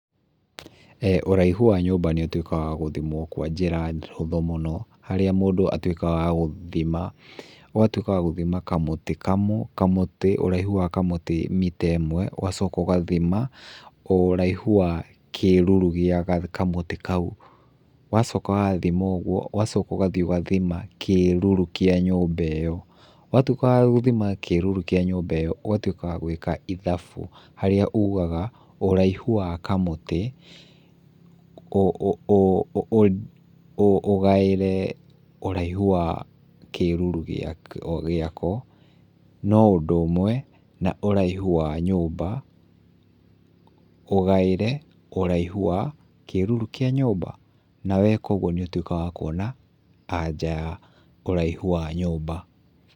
Ũraihu wa nyũmba nĩũtuĩkaga wa gũthimwo kwa njĩra hũthũ mũno, harĩa mũndũ atuĩkaga wa gũthima, ũgatuĩka wa gũthima kamũtĩ kamũtĩ ũraihu wa kamũtĩ mita ĩmwe, ũgacoka ũgathima ũraihu wa kĩruru gĩa kamũtĩ kau. Wacoka wathima ũguo ũgacoka ũgathiĩ ũgathima kĩruru kĩa nyũmba ĩyo. Watuĩka wa gũthima kĩruru kĩa nyũmba ĩyo ũgatuĩka wa gwĩka ithabu harĩa ugaga ũraihu wa kamũtĩ ũgaĩre ũraihu wa kĩruru gĩako, no ũndũ ũmwe na ũraihu wa nyũmba ũgaĩre ũraihu wa kĩruru kĩa nyũmba, na weka ũguo nĩũtuĩkaga wa kuona anja ya ũraihu wa nyũmba.